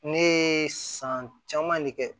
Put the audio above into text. Ne ye san caman de kɛ